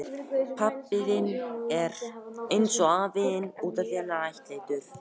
Orkustofnun og Landsvirkjun, Reykjavík.